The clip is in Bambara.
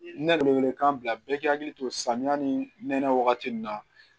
Ne wele wele kan bila bɛɛ k'i hakili to samiya ni nɛnɛ wagati nin na